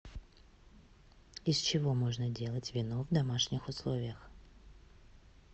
из чего можно делать вино в домашних условиях